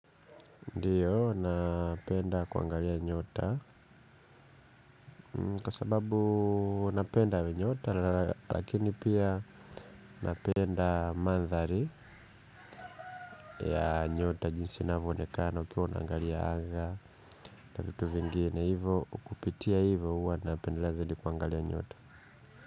Ndiyo, napenda kuangalia nyota. Kwa sababu napenda nyota lakini pia napenda maandhari ya nyota jinsi inavyo onekana ukiwa unaangalia anga na vitu vingine. Hivo, kupitia hivo huwa napendelea zaidi kuangalia nyota.